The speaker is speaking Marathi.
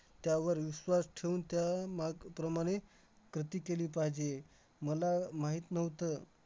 त्यावर विश्वास ठेवून त्यामाग~ प्रमाणे कृती केली पाहिजे. मला माहित नव्हतं